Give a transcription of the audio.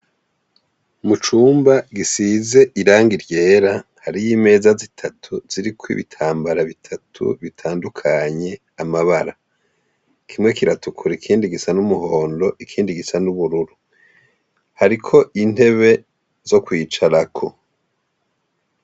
Mu cumba gisize irangi ryera hariyo imeza zitatu ziriko ibitambara bitatu bitandukanye amabara kimwe kiratukura ikindi gisa n'umuhondo ikindi gisa n'ubururu hariko intebe zo kwicarako.